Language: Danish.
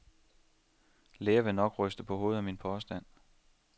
Læger vil nok ryste på hovedet af min påstand.